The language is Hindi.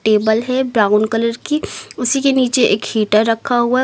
टेबल है ब्राउन कलर की उसी के नीचे एक हीटर रखा हुआ है उस--